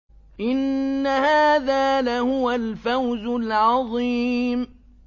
إِنَّ هَٰذَا لَهُوَ الْفَوْزُ الْعَظِيمُ